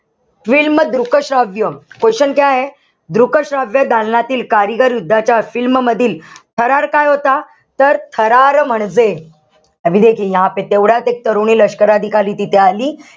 Film दृक श्राव्य question दृक श्राव्य दालनातील कारगिलयुद्धाच्या film मधील थरार काय होता? तर थरार म्हणजे, तेवढ्यात एक तरुणी लष्कर अधिकारी तिथे आली.